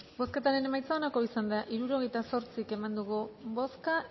bozketaren emaitza onako izan da hirurogeita zortzi eman dugu bozka